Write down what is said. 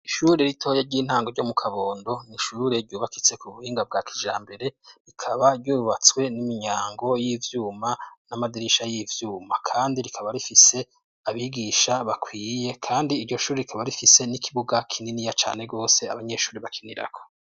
Ishure ritoya ry'intango ryo mu Kabondo, ni ishure ryubakitse ku buhinga bwa kijambere, rikaba ryubatswe n'imyango y'ivyuma n'amadirisha y'ivyuma. Kandi rikaba rifise abigisha bakwiye, kandi iryo shuri rikaba rifise n'ikibuga kininiya cane bose abanyeshuri bakinirako.